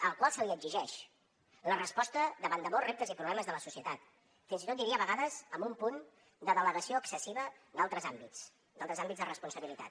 al qual se li exigeix la resposta davant de molts reptes i problemes de la societat fins i tot diria a vegades amb un punt de delegació excessiva d’altres àmbits d’altres àmbits de responsabilitat